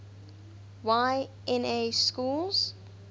y na schools